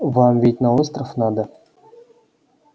вам ведь на остров надо